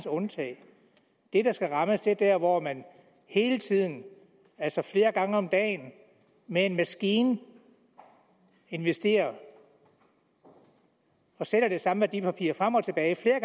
undtage det der skal rammes er der hvor man hele tiden altså flere gange om dagen med en maskine investerer og sælger det samme værdipapir frem og tilbage